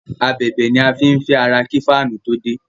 Ábèbè ni a fín fé àrà kí Fáànù to dé